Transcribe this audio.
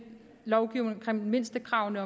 lovgive om mindstekravene